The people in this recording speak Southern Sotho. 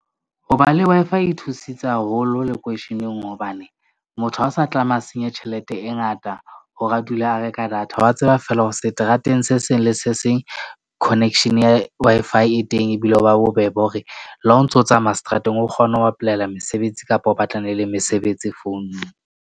Ho ba le Wi-Fi e nthusitse haholo lekweisheneng. Hobane motho ha a sa tlameha a senye tjhelete e ngata hore a dula a reka data. Wa tseba feela hore seterateng se seng le se seng. Connection ya Wi-Fi e teng. Ebile ho ba bobebe hore le ha o ntso tsamaya seterateng, o kgone ho apolaela mesebetsi kapa o batlana le mesebetsi founung.